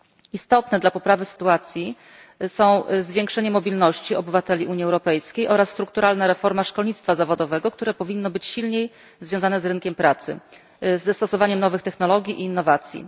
Istotne dla poprawy sytuacji są zwiększenie mobilności obywateli Unii Europejskiej oraz strukturalna reforma szkolnictwa zawodowego, które powinno być silniej związane z rynkiem pracy, ze stosowaniem nowych technologii i innowacji.